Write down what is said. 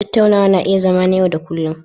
Tattaunawa na iya zama na yau da kullun.